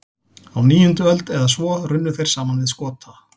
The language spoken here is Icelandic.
Á níundu öld eða svo runnu þeir saman við Skota.